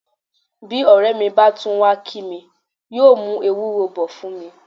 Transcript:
Bí ọ̀rẹ́ mi bá tún wá kí mi, yóò mú ewúro bọ̀ fún mi.